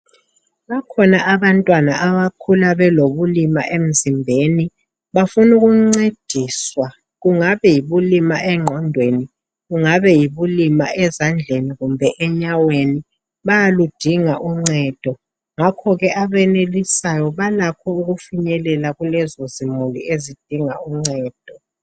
Bakhona abantwana abakhulu belobulima emzimbeni bafuna ukuncediswa kungabe yibulima enqondweni kungabe yibulima ezandleni kumbe enyaweni bayaludinga uncedo ngakho kee abenelisayo balakho ukufinyelela kulezo zimuli ezidinga uncedo.